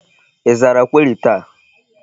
Ị zara query taa?